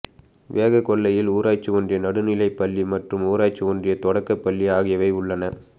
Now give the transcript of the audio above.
வேகாக்கொல்லையில் ஊராட்சி ஒன்றிய நடுநலைப் பள்ளி மற்றும் ஊராட்சி ஒன்றியத் தொடக்க பள்ளி ஆகியவை உள்ளன